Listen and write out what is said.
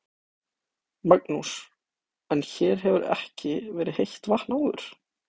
Magnús: En hér hefur ekki verið heitt vatn áður?